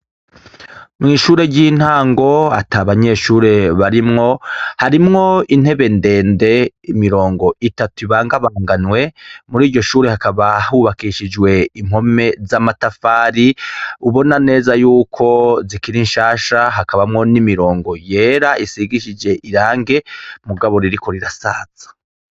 Mw'ishure ryintango ata banyeshure barimwo, harimwo intebe ndende imirongo itatu ibangabanganywe, muriryo shure hakaba hubakishijwe impome z'amatafari ubona neza yuko zikiri nshasha, hakabamwo n'imirongo yera isigishije irangi mugabo ririko rirasaza.